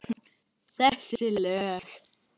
Þessi lög?